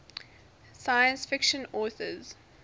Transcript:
science fiction authors